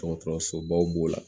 Dɔgɔtɔrɔsobaw b'o la